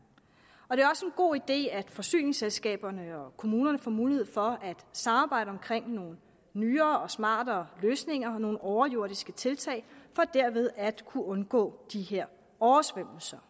og det god idé at forsyningsselskaberne og kommunerne får mulighed for at samarbejde om nogle nyere og smartere løsninger og nogle overjordiske tiltag for derved at kunne undgå de her oversvømmelser